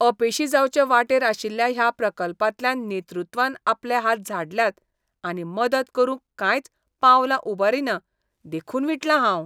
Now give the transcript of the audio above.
अपेशी जावचे वाटेर आशिल्ल्या ह्या प्रकल्पांतल्यान नेतृत्वान आपले हात झाडल्यात आनी मदत करूंक कांयच पावलांउबारिना देखून विटलां हांव.